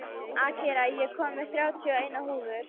Akira, ég kom með þrjátíu og eina húfur!